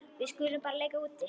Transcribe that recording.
Við skulum bara leika úti.